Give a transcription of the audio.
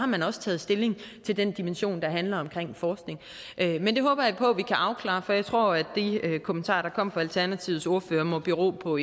man også taget stilling til den dimension der handler om forskning men det håber jeg på at vi kan afklare for jeg tror at de kommentarer der kom fra alternativets ordfører må bero på